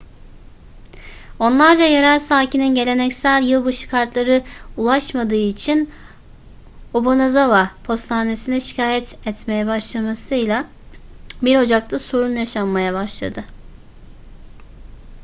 onlarca yerel sakinin geleneksel yılbaşı kartları ulaşmadığı için obanazawa postanesi'ne şikayet etmeye başlamasıyla 1 ocak'ta sorun yaşanmaya başladı